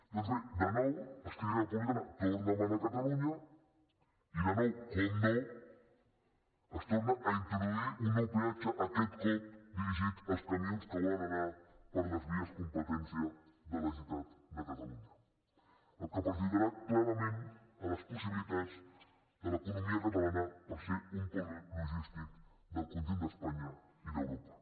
doncs bé de nou esquerra republicana torna a manar a catalunya i de nou evidentment es torna a introduir un nou peatge aquest cop dirigit als camions que volen anar per les vies competència de la generalitat de catalunya cosa que perjudicarà clarament les possibilitats de l’economia catalana per ser un pol logístic del conjunt d’espanya i d’europa